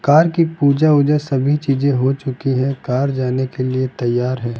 Car की पूजा उजा सभी चीजें हो चुकी है कार जाने के लिए तैयार है।